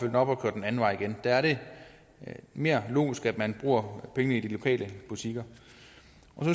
den op og køre den anden vej igen der er det mere logisk at man bruger pengene i de lokale butikker